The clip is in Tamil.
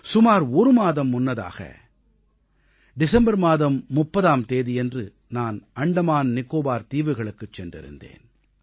சுமார் ஒரு மாதம் முன்னதாக டிசம்பர் மாதம் 30ஆம் தேதியன்று நான் அந்தமான் நிகோபார் தீவுகளுக்குச் சென்றிருந்தேன்